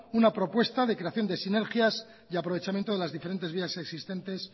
una propuesta de creación de sinergias y aprovechamiento de las diferentes vías existentes